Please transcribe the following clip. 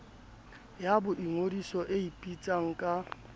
ya boingodiso e ipitsang ka